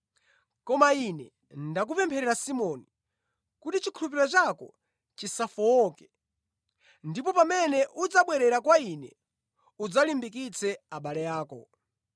Koma Ine ndakupempherera Simoni, kuti chikhulupiriro chako chisafowoke ndipo pamene udzabwerera kwa Ine, udzalimbikitse abale ako.”